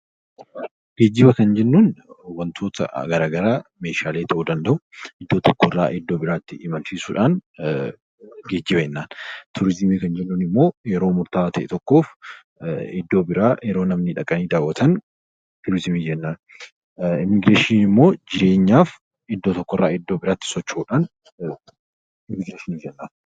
Geejjiba Kan jennuun wantoota garaagaraa meeshaalee tahuu danda'u iddoo tokko irraa iddoo biraatti imalchiisuudhaan geejjiba Jenna. Turizimii Kan jennuun immoo yeroo murta'aa tahe tokkoof iddoo biraa yeroo namni dhaqanii daawwatan turizimii jennaan. Immigireeshiniin immoo jireenyaaf iddoo tokko irraa iddoo biraatti socho'uudhaan immigireeshinii jedhama.